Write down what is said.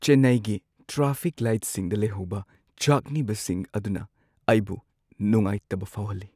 ꯆꯦꯟꯅꯥꯏꯒꯤ ꯇ꯭ꯔꯥꯐꯤꯛ ꯂꯥꯏꯠꯁꯤꯡꯗ ꯂꯩꯍꯧꯕ ꯆꯥꯛꯅꯤꯕꯁꯤꯡ ꯑꯗꯨꯅ ꯑꯩꯕꯨ ꯅꯨꯡꯉꯥꯏꯇꯕ ꯐꯥꯎꯍꯜꯂꯤ ꯫